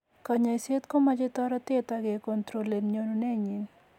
Konyoiset ko moche toretet agecontrolen nyonunenyin.